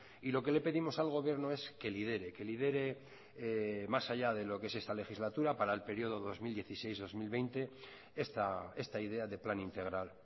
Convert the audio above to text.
y lo que le pedimos al gobierno es que lidere que lidere más allá de lo que es esta legislatura para el periodo dos mil dieciséis dos mil veinte esta idea de plan integral